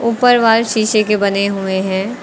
ऊपर वॉल शीशे के बने हुए हैं।